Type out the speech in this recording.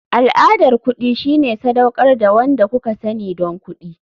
Al'adar kuɗi shine sadaukar da wanda kuka sani don kuɗi.